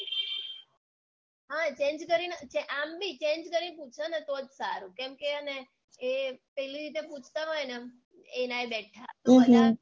હા change કરીને આમ બી change કરીને પૂછ ન તો જ સારું કેમ કે હેને ઈ પેલી રીતે પૂછતા હોય ને એનાં એ બેઠાં તો બધાં